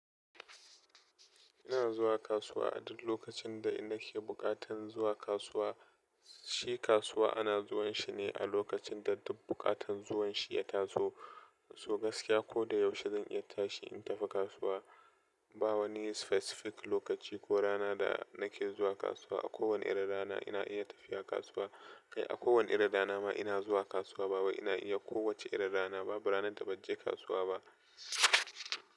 Ina zuwa kasuwa a duk lokacin da nake buƙatan zuwa kasuwa, shi kasuwa ana zuwan shine a lokacin da duk buƙatan zuwanshi ya taso. So gaskiya koda yaushe zan iya tashi in tafi kasuwa. Ba wani specific lokaci ko rana da nake zuwa kasuwa. A kowane irin rana ina iya tafiya kasuwa. Kai a kowane irin rana ma ina zuwa kasuwa ba wai ina iya kowacce irin rana ba, ba ranar da banje kasuwa ba.